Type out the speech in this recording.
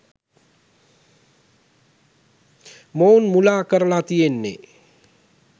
මොවුන් මුලා කරලා තියෙන්නේ.